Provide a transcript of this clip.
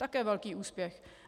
Také velký úspěch.